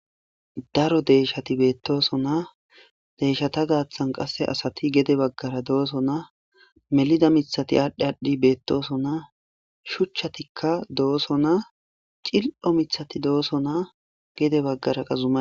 Daro deyshati beettooso naa deyshata gaaththan qasse asati gede baggara dooso naa melida mithati aadhdhi aadhdhi beettooso naa shuchchatikka dooso naa cil'o mithati dooso naa gede baggara qazuma.